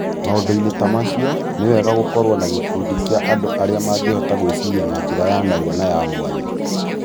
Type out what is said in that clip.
Maũndũ-inĩ ta macio, nĩ wega gũkorũo na gĩkundi kĩa andũ arĩa mangĩhota gwĩciria na njĩra ya narua na ya mwanya.